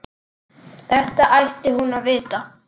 Þetta ætti hún að vita.